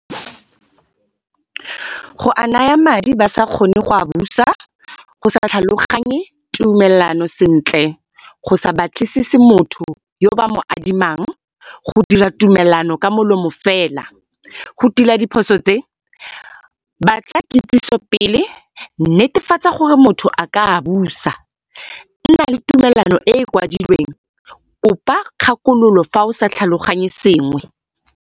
Go a naya madi ba sa kgone go a busa, go sa tlhaloganye tumelano sentle, go sa batlisise motho yo ba mo adimang, go dira tumelano ka molomo fela. Go tila diphoso tse batla kitsiso pele, netefatsa gore motho a ka a busa. Nna le tumalano e e kwadilweng, kopa kgakololo fa o sa tlhaloganye sengwe.